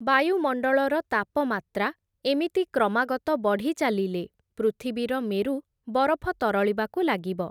ବାୟୁମଣ୍ଡଳର ତାପମାତ୍ରା ଏମିତି କ୍ରମାଗତ ବଢ଼ିଚାଲିଲେ, ପୃଥିବୀର ମେରୁ ବରଫ ତରଳିବାକୁ ଲାଗିବ ।